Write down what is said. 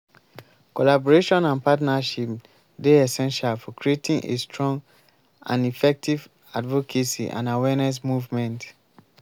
collaboration and partnership dey essential for creating a strong and effective advocacy and awareness movement.